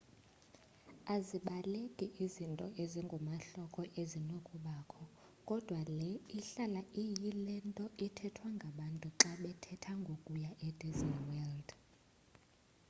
azibaleki izinto ezingumahloko ezinokubakho kodwa le ihlala iyile nto ithethwa ngabantu xa bethetha ngokuya e-disney world